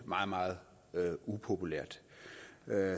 meget meget upopulært